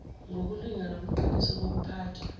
ngokulunga nobuqiniso bokuphathwa